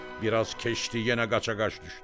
Bir az keçdi, yenə qaçaqaç düşdü.